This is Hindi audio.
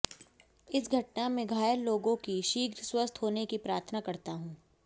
इस घटना में घायल लोगों के शीघ्र स्वस्थ होने की प्रार्थना करता हूं